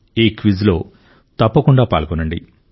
ఈ క్విజ్లో తప్పకుండా పాల్గొనండి